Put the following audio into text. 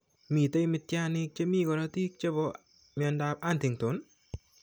Mitene mityaniikap che mi korotiik che po mnyandoap Huntington?